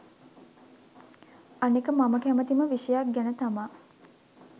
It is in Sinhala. අනික මම කැමතිම විෂයක් ගැන තමා